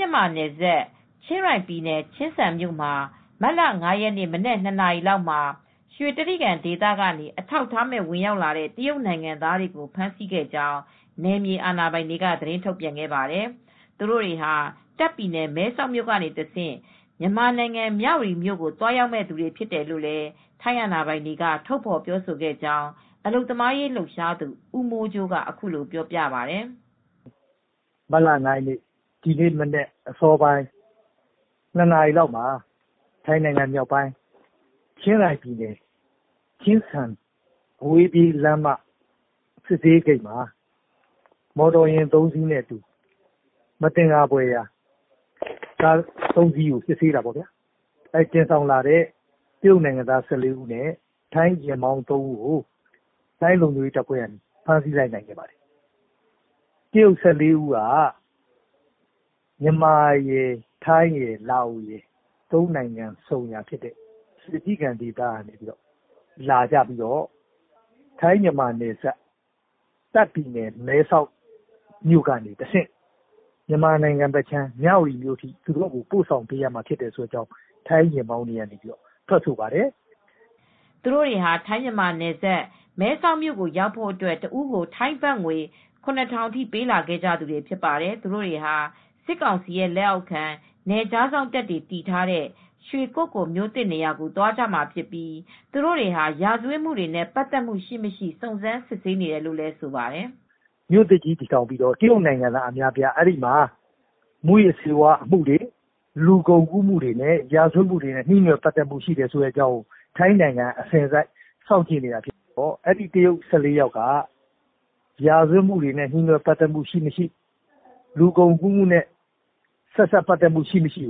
ြန်မာနယ်စပ် ချင်းရိုင်ပြည် ချင်းစန်မြို့မှာ မတ်လ ၅ ရက်နေ့ မနက် ၂ နာရီလောက်မှာ ရွှေတြိဂံဒေသကနေ အထောက်အထားမဲ့ဝင်ရောက်လာတဲ့ တရုတ်နိုင်ငံသားတွေကိုဖမ်းဆီးခဲ့ကြောင်း နယ်မြေအာဏာပိုင်တွေက သတင်းထုတ်ပြန်ခဲ့ပါတယ်။ သူတို့တွေဟာ တာ့ခ်ပြည်နယ် မဲဆောက်နေတဆင့် မြန်မာနိုင်ငံ မြဝတီမြို့ကိုသွားရောက်မယ့်သူတွေဖြစ်တယ်လို့ ထိုင်းအာဏာပိုင်တွေက ထုတ်ဖော်ပြောဆိုခဲ့ကြောင်း အလုပ်သမားရေးလှုပ်ရှားသူ ဦးမိုးကြိုးက အခုလိုပြောပါတယ်။ “မတ်လ ၅ ရက်နေ့ ဒီနေ့မနက် အစောပိုင်း ၂ နာရီလောက်မှာ ထိုင်းမြောက်ပိုင်း ချင်းရိုင်ပြည်နယ် ချင်းစန်မြို့နယ် အဝေးပြေးလမ်းမ စစ်ဆေးရေးဂိတ်မှာ မသင်္ကာစရာကား ၃ စီးကို စစ်ဆေးတဲ့အခါမှာ သယ်ဆောင်လာတဲ့ တရုတ်နိုင်ငံသား ၁၄ ဦးနဲ့ ထိုင်းယာဉ်မောင်း ၃ ဦးကို ထိုင်းလုံခြုံရေးတပ်ဖွဲ့တွေက ဖမ်းဆီးလိုက်ပါတယ်။ တရုတ် ၁၄ ဦးကတော့ ထိုင်း၊ မြန်မာ၊ လာအိုဝ်ဆုံရာရွှေတြိဂံဒေသကနေလာပြီးတော့ ထိုင်း-မြန်မာနယ်စပ် တာခ့်ပြည်နယ်မဲဆောက်ကနေတဆင့် မြန်မာနိုင်ငံ မြဝတီဘက်ကို ပို့ဆောင်ပေးရမှာဖြစ်တယ်လို့ ထွက်ဆိုပါတယ်။” သူတို့တွေဟာ ထိုင်း-မြန်မာနယ်စပ် မဲဆောက်ကိုရောက်ဖို့အတွက် တဦးကို ထိုင်းဘတ်ငွေ ၇ ထောင်ပေးပြီးလာခဲ့ကြတာဖြစ်ပါတယ်။ သူတို့တွေဟာ စစ်ကောင်စီလက်အောက်ခံ နယ်ခြားစောင့်တပ်တွေ တည်ထားတဲ့ ရွှေက္ကိုလ်မြို့သစ်နေရာကိုသွားကြမှာဖြစ်ပြီး သူတို့တွေဟာ ရာဇဝတ်မှုတွေနဲ့ ပတ်သက်မှုရှိမရှိ စုံစမ်းစစ်ဆေးနေတယ်လို့လည်း ဆိုပါတယ်။ “မြို့သစ်တည်ထောင်ပြီးတော့ မူးယစ်ဆေးဝါးမှုတွေ၊ လူကုန်ကူးမှု၊ ရာဇဝတ်မှုတွေနဲ့နှီးနွယ်ပတ်သက်မှု ရှိတယ်ဆိုတာ ထိုင်းကစောင့်ကြည့်နေပြီး အဲဒီ တရုတ် ၁၄ ယောက်ကလည်း ရာဇဝတ်မှုတွေ၊ လူကုန်ကူးမှုတွေဆက်စပ်မှုရှိမရှိ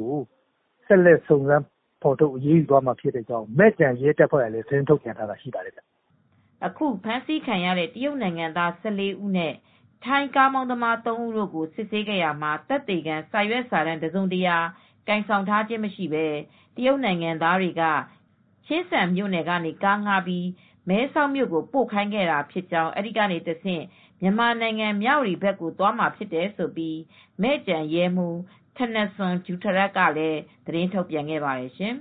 စစ်ဆေးသွားမယ်လို့လည်း မဲ့ကျန်ရဲတပ်ဖွဲ့ကလည်း သတင်းထုတ်ပြန်ထားပါတယ်။” အခုဖမ်းဆီးခံရတဲ့တရုတ်နိုင်ငံသား ၁၄ ဦးနဲ့ ထိုင်းကားမောင်းသူသုံးဦးတို့ကို စစ်ဆေးရာမှာ သက်သေခံ စာရွက်စာတမ်း တစုံတရာ ကိုင်ဆောင်ထားခြင့်မရှိဘဲ တရုတ်နိုင်ငံသားတွေက ချင်းစန်မြို့နယ်ကနေ ကားငှားပြီး မဲဆောက်မြို့ကိုပို့ခိုင်းခဲ့တာဖြစ်ကြောင်း အဲဒီကတဆင့် မြန်မာနိုင်ငံ မြဝတီဘက်ကိုသွားမှာဖြစ်တယ်လို့ မဲ့ကျန်ရဲမှူး Pol. Col. Thanasorn Jutharat (ထနစွန် ဂျူထရပ်) က သတင်းစာရှင်းလင်းပွဲမှာ ထုတ်ပြန်ခဲ့ပါတယ်ရှင်။